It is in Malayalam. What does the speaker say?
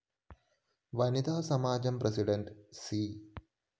വനിതാ സമാജം പ്രസിഡണ്ട് സി